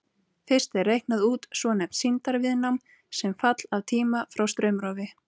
Fyrst er reiknað út svonefnt sýndarviðnám sem fall af tíma frá straumrofi.